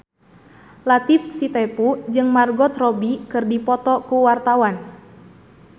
Latief Sitepu jeung Margot Robbie keur dipoto ku wartawan